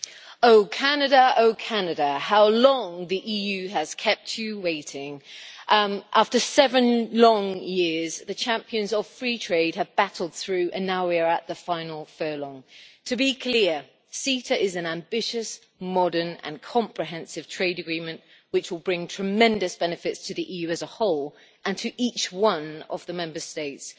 Madam President, I would like to say this O Canada', how long the EU has kept you waiting. After seven long years, the champions of free trade have battled through, and now we are at the final furlong. To be clear, CETA is an ambitious, modern and comprehensive trade agreement, which will bring tremendous benefits to the EU as a whole and to each one of the Member States.